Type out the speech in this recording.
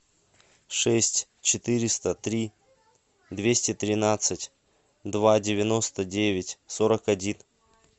шесть четыреста три двести тринадцать два девяносто девять сорок один